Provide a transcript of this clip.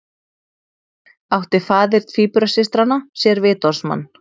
Átti faðir tvíburasystranna sér vitorðsmann